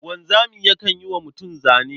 Wanzami yakan yi wa mutum zane.